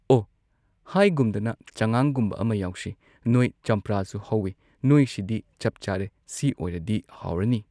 ꯑꯣ ꯍꯥꯏꯒꯨꯝꯗꯅ ꯆꯉꯥꯡꯒꯨꯝꯕ ꯑꯃ ꯌꯥꯎꯁꯦ ꯅꯣꯏ ꯆꯝꯄ꯭ꯔꯥꯁꯨ ꯍꯧꯋꯦ ꯅꯣꯏ ꯁꯤꯗꯤ ꯆꯞ ꯆꯥꯔꯦ ꯁꯤ ꯑꯣꯏꯔꯗꯤ ꯍꯥꯎꯔꯅꯤ꯫